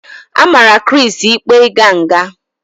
A mara Chris ikpe ịga nga